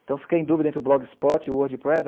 Então, fiquei em dúvida entre o Blogspot e o Wordpress.